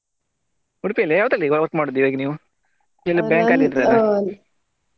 Udupi ಯಲ್ಲಿಯಾ ಯಾವ್ದ್ರಲ್ಲಿ ಈಗ work ಮಾಡುದು ಈಗ ನೀವು bank ಅಲ್ಲಿ ಇದ್ರಲ್ಲ?